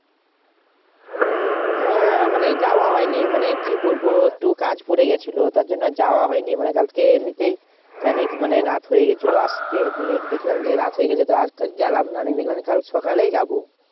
হ্যাঁ মানে যাওয়া হয়নি, মনে কি বলবো একটু কাজ পড়ে গেছিল তার জন্য যাওয়া হয়নি মানে কালকে এমনিতেই খানিক রাত হয়ে গেছিল আসতে নিয়ে দেখলাম যে রাত হয়ে গেছে আর গেলাম না গিয়ে দেখলাম যে কাল সকালেই যাবো